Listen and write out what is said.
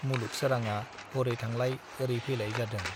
मुलुग सोराङा हरै थांलाय औरै फैलाय जादों।